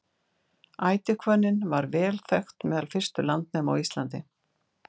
ætihvönnin var vel þekkt meðal fyrstu landnema á íslandi